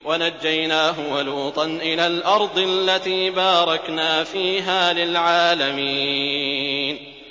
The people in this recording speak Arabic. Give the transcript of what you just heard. وَنَجَّيْنَاهُ وَلُوطًا إِلَى الْأَرْضِ الَّتِي بَارَكْنَا فِيهَا لِلْعَالَمِينَ